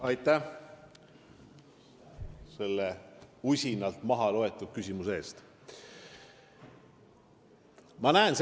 Aitäh selle usinalt mahaloetud küsimuse eest!